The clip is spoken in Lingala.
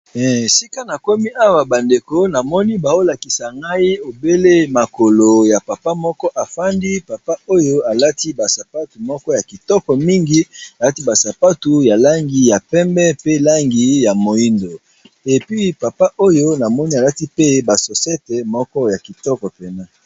Esika na komi awa ba ndeko namoni baolakisa ngai obele makolo ya papa moko afandi, papa oyo alati ba sapatu moko ya kitoko mingi alati ba sapatu ya langi ya pembe pe langi ya moyindo epi papa oyo namoni alati pe ba sosete moko ya kitoko penza.